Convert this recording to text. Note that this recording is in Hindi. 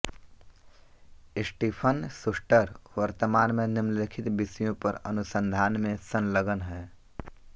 स्टीफन शूस्टर वर्तमान में निम्नलिखित विषयों पर अनुसंधान में संलग्न हैं